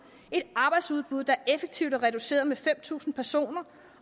et arbejdsudbud der effektivt er reduceret med fem tusind personer